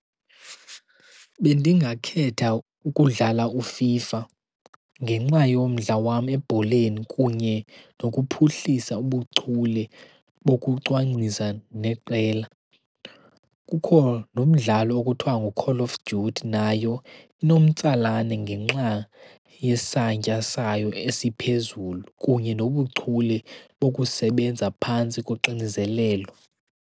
Bendingakhetha ukudlala uFIFA ngenxa yomdla wam ebholeni kunye nokuphuhlisa ubuchule bokucwangcisa neqela. Kukho nomdlalo okuthiwa ngu-Call of Duty, nayo inomtsalane ngenxa yesantya sayo esiphezulu kunye nobuchule bokusebenza phantsi koxinzelelo.